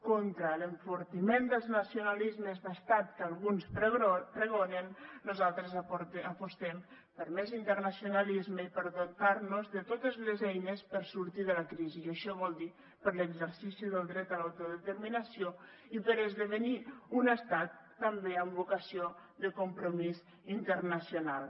contra l’enfortiment dels nacionalismes d’estat que alguns pregonen nosaltres apostem per més internacionalisme i per dotar nos de totes les eines per a sortir de la crisi i això vol dir per a l’exercici del dret a l’autodeterminació i per a esdevenir un estat també amb vocació de compromís internacional